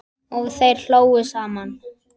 Og þeir hlógu saman.